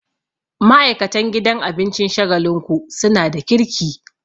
Ma'aikatan gidan abincin Shagalinku suna da kirki